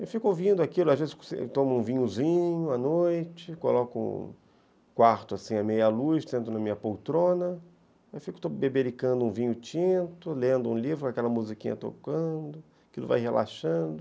Eu fico ouvindo aquilo, às vezes tomo um vinhozinho à noite, coloco o quarto à meia-luz, sento na minha poltrona, fico bebericando um vinho tinto, lendo um livro com aquela musiquinha tocando, aquilo vai relaxando.